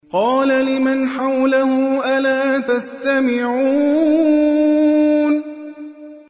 قَالَ لِمَنْ حَوْلَهُ أَلَا تَسْتَمِعُونَ